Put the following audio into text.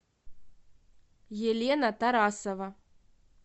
елена тарасова